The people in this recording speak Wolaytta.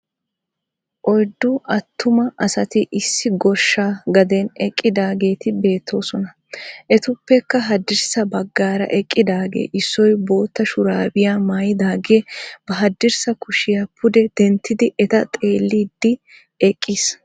Oyddu attuma asati issi goshsha gaden eqqidaageeti beettoosona. Etuppekka haddirssa baggaara eqqidaage issoy bootta shuraabiya maayidaagee ba haddirssa kushiya pude denttidi eta xeelliiddi eqqiis.